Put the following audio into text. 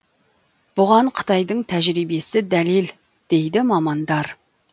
бұған қытайдың тәжірибесі дәлел дейді мамандар